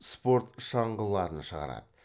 спорт шаңғыларын шығарады